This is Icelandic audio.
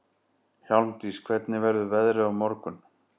Hjálmdís, hvernig verður veðrið á morgun?